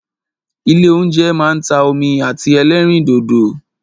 Ilé óúnjẹ máa ń ta omi àti ẹlẹ́rìndòdò.